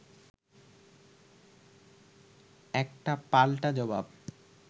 একটা পাল্টা জবাব